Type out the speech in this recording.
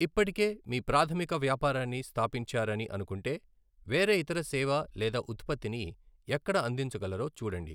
ఇప్పటికే మీ ప్రాధమిక వ్యాపారాన్ని స్థాపించారని అనుకుంటే, వేరే ఇతర సేవ లేదా ఉత్పత్తిని ఎక్కడ అందించగలరో చూడండి.